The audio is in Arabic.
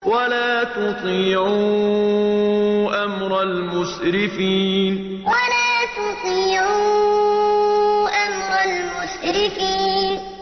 وَلَا تُطِيعُوا أَمْرَ الْمُسْرِفِينَ وَلَا تُطِيعُوا أَمْرَ الْمُسْرِفِينَ